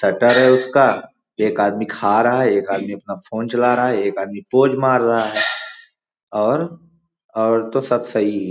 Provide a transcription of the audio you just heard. Shutter है उसका एक आदमी खा रहा है एक आदमी फ़ोन चला रहा है एक आदमी पोज मार रहा है और और तो सब सही ही हैं ।